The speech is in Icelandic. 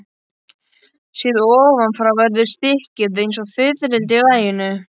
Séð ofan frá verður stykkið eins og fiðrildi í laginu.